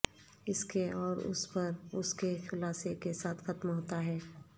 اس کے اور اس پر اس کے خلاصے کے ساتھ ختم ہوتا ہے